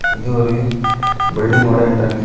இது ஒரு பில்லிடிங்கோட என்ட்ரன்ஸ் .